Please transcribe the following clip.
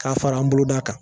K'a fara an boloda kan